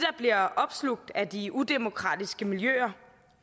bliver opslugt af de udemokratiske miljøer